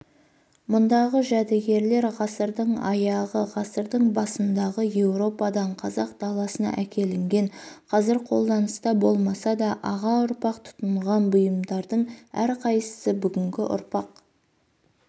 мұндағы жәдігерлер ғасырдың аяғы ғасырдың басындағы еуропадан қазақ даласына әкелінген қазір қолданыста болмаса да аға ұрпақ тұтынған бұйымдардың әрқайсысы бүгінгі ұрпақ